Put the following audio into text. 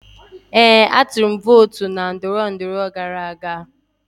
Ee, atụrụ m vootu na ndọrọndọrọ gara aga.